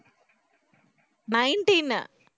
nineteen